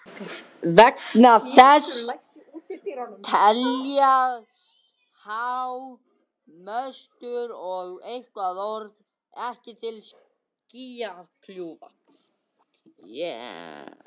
Þess vegna teljast há möstur eða turnar ekki til skýjakljúfa.